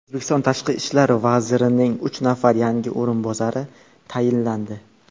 O‘zbekiston Tashqi ishlar vazirining uch nafar yangi o‘rinbosari tayinlandi.